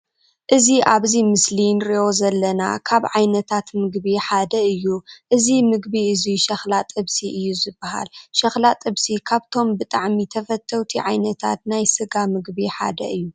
እዚ ኣብዚ ምስሊ እንርእዩ ዘለና ካብ ዓይነታት ምግቢ እዩ። እዚ ምግቢ እዙይ ሸክላ ጥብሲ እዩ ዝባሃል። ሸክላ ጥብሲ ካብቶም ብጣዕሚ ተፈተውቲ ዓይነታት ናይ ስጋ ምግቢ ሓደ እዩ።